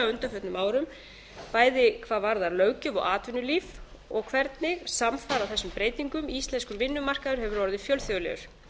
undanförnum árum bæði hvað varðar löggjöf og atvinnulíf og hvernig samfara þessum breytingum íslenskur vinnumarkaður hefur orðið fjölþjóðlegur